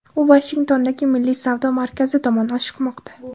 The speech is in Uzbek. U Vashingtondagi Milliy savdo markazi tomon oshiqmoqda.